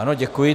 Ano, děkuji.